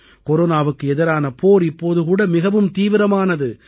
கொரோனாவுக்கு எதிரான போர் இப்போதும் கூட மிகவும் தீவிரமானது